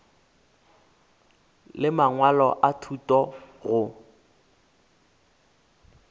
le mangwalo a thuto go